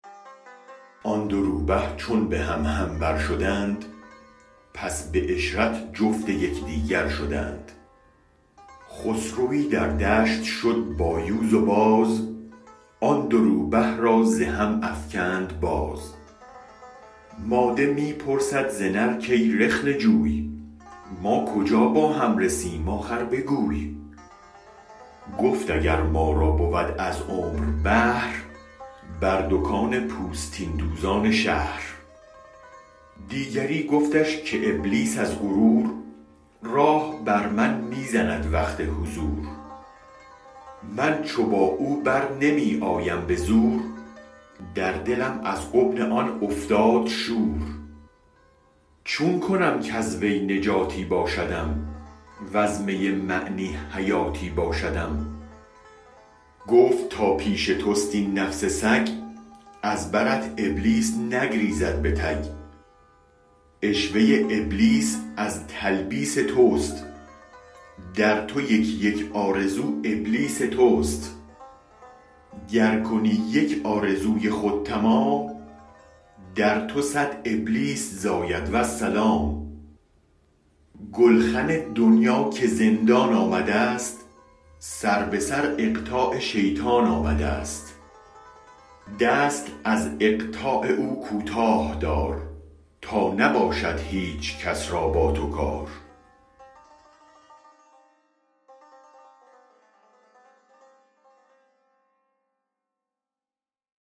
آن دو روبه چون به هم هم بر شدند پس به عشرت جفت یک دیگر شدند خسروی در دشت شد با یوز و باز آن دو روبه را ز هم افکند باز ماده می پرسد ز نر کی رخنه جوی ما کجا با هم رسیم آخر بگوی گفت اگر ما را بود از عمر بهر بر دکان پوستین دوزان شهر دیگری گفتش که ابلیس از غرور راه بر من می زند وقت حضور من چو با او برنمی آیم به زور در دلم از غبن آن افتاد شور چون کنم کز وی نجاتی باشدم وز می معنی حیاتی باشدم گفت تا پیش توست این نفس سگ از برت ابلیس نگریزد به تگ عشوه ابلیس از تلبیس تست در تو یک یک آرزو ابلیس تست گر کنی یک آرزوی خود تمام در تو صد ابلیس زاید والسلام گلخن دنیا که زندان آمدست سر به سر اقطاع شیطان آمدست دست از اقطاع او کوتاه دار تا نباشد هیچ کس را با تو کار